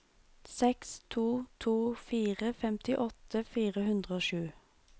seks to to fire femtiåtte fire hundre og sju